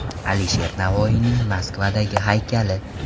Alisher Navoiyning Moskvadagi haykali.